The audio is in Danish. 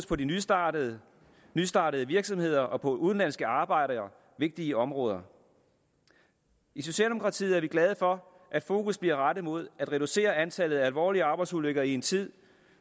på de nystartede nystartede virksomheder og på de udenlandske arbejdere vigtige områder i socialdemokratiet er vi glade for at fokus bliver rettet mod at reducere antallet af alvorlige arbejdsulykker i en tid